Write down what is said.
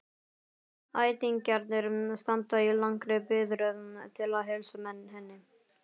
Ættingjarnir standa í langri biðröð til að heilsa henni.